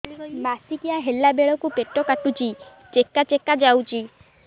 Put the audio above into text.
ମାସିକିଆ ହେଲା ବେଳକୁ ପେଟ କାଟୁଚି ଚେକା ଚେକା ଯାଉଚି